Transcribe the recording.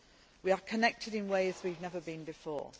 We are connected in ways we have never been before.